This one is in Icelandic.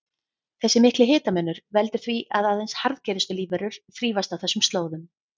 Þessi mikli hitamunur veldur því að aðeins harðgerustu lífverur þrífast á þessum slóðum.